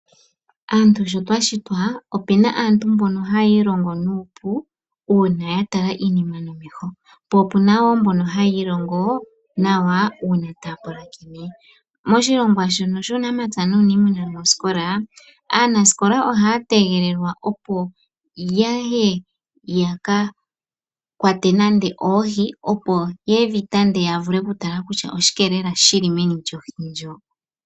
Aantu sho twa shitwa, opu na aantu mbono haya ilongo nuupu, uuna ya tala iinima nomeho. Opu na wo mbono haya ilongo nawa uuna taya pulakene. Moshilongwa shono shUunamapya nUuniimuna mosikola, aanasikola ohaya tegelelwa opo ya ye ya ka kwate nando oohi, opo ye dhi tande ya vule okutala kutya oshike lela shi li meni lyohi ndjoka.